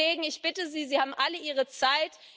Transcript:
Liebe Kollegen, ich bitte Sie, Sie haben alle ihre Zeit.